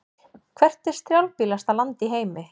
Hvert er strjálbýlasta land í heimi?